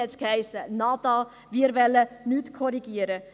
Dort hiess es: «Nada», wir wollen nichts korrigieren.